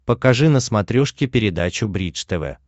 покажи на смотрешке передачу бридж тв